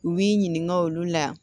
U b'i ɲininka olu la